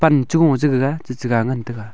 wanchu ngo chaiga chi che ga ngan chaiga.